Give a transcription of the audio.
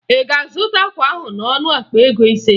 Ị ga-azụta akwa ahụ n'ọnụ akpa ego ise?